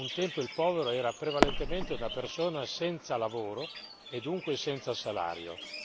Un tempo il povero era prevalentemente una persona senza lavoro e dunque senza salario.